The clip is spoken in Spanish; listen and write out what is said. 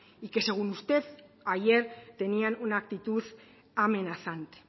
y que según usted ayer tenían una actitud amenazante